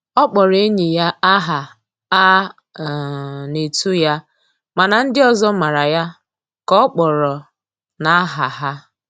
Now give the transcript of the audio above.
Ọ kpọrọ enyi ya aha a um na-etu ya mana ndị ọzọ mara ya ka ọ kpọrọ na aha ha.